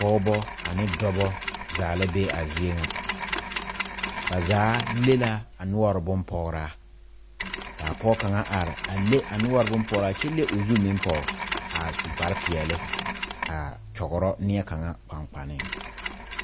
Pɔɔbɔ ane dɔbɔ zaa la be a zie nyɛ ba zaa le la a noɔre bon pɔgraa kaa pɔg kaŋa are a le a noɔre bon pɔgraa kyɛ le o zu meŋ pɔg a su kpare peɛɛle aa kyɔgrɔ nie kaŋa kpaŋkpaneŋ.